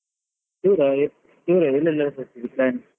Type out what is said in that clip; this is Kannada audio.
ದೂರ ಎಲ್ ಎಲ್ಲಾಹೋಗ್ಬರ್ತೀರಿ plan ?